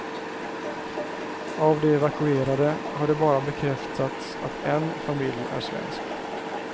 Av de evakuerade har det bara bekräftats att en familj är svensk.